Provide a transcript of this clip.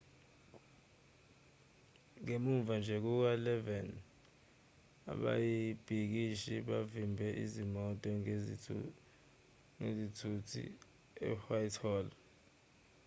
ngemuva nje kuka-11:00 ababhikishi bavimbe izimoto ngezithuthi e-whitehall